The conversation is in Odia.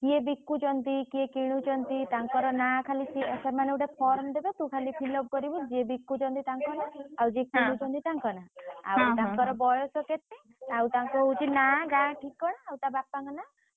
କିଏ ବିକୁଛନ୍ତି କିଏ କିଣୁଛନ୍ତୁ ତାଙ୍କର ନାଁ ଖାଲି ସେମାନେ ଗୋଟେ form ଦେବେ ତୁ ଖାଲି fill up କରିବୁ ଯିଏ କିଣୁଛନ୍ତି ତାଂକ ନାଁ ଆଉ ଯିଏ ବିକୁଛନ୍ତି ତାଂକ ନାଁ ଆଉ ତାଙ୍କର ବୟସ କେତେ ଆଉ ତାଙ୍କ ହଉଛି ନାଁ ଗାଁ ଠିକଣା ଆଉ ତା ବାପାଙ୍କ ନାଁ ।